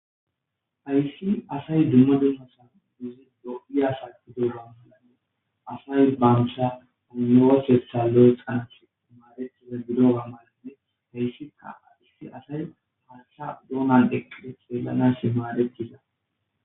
ayssi asay dumma duomasan duzi go7iyasa gido ga malanne asay banusha anowosessa lo7e xant maadettiza gido ga malanne heyssika aissi asay hasta doona deqqide xeelanas maadettiza